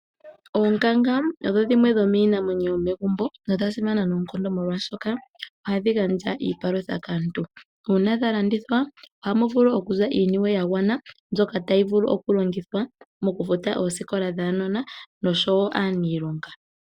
Oonkanga odho dhimwe dhomiinamwenyo yomegumbo nodhili dhasimana noonkondo molwaashoka ohadhi gandja onyama ombwaanawa kaantu. Ohadhi vulu woo okulandithwa opo aantu ya mone mo iimaliwa yavule okufutila uunona wa wo oosikola.